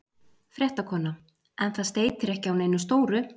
Fréttakona: En það steytir ekki á neinu stóru?